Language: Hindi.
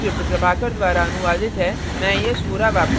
अब हम इस tutorial के अंत में आ गये हैं